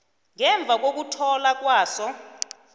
ngemva kokuthola kwaso